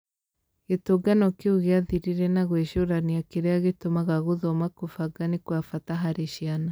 Gĩtũngano kĩu gĩathirire na gwĩcũrania kĩrĩa gĩtũmaga gũthoma kũbanga nĩ kwa bata harĩ ciana